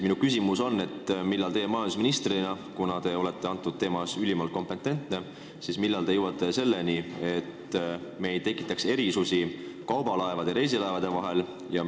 Millal teie majandusministrina – kuna te olete sellel teemal ülimalt kompetentne – jõuate selleni, et me ei tekitaks erisusi kaubalaevade ja reisilaevade vahel?